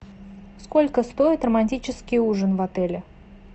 сколько стоит романтический ужин в отеле